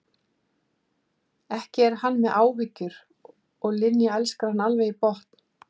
Ekki er hann með áhyggjur og Linja elskar hann alveg í botn.